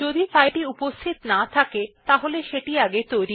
যদি ফাইলটি উপস্থিত না থাকে সেটি নির্মিত হয়